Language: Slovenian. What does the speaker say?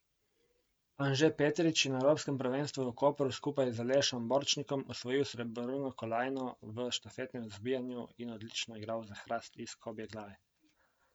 Anže Petrič je na evropskem prvenstvu v Kopru skupaj z Alešem Borčnikom osvojil srebrno kolajno v štafetnem zbijanju in odlično igral za Hrast iz Kobjeglave.